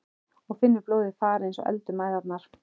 Og finnur blóðið fara eins og eld um æðarnar.